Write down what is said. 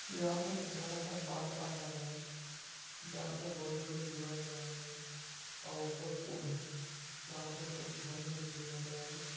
यहाँ पर एक बड़ा सा बांध बंधा गया है